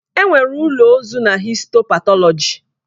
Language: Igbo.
Enwere ụlọ ozu na histo patọlọji.